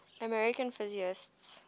american physicists